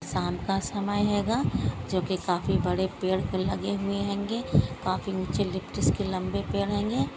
शाम का समय हेंगा जो की काफी बड़े पेड़ लगे हुवे हेंगे काफी ऊंचे लिप्टस के लंबे पेड़ हेंगे।